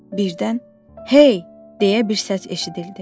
Birdən, hey, deyə bir səs eşidildi.